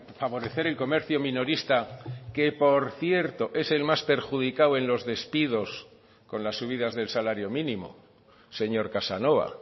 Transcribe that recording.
favorecer el comercio minorista que por cierto es el más perjudicado en los despidos con las subidas del salario mínimo señor casanova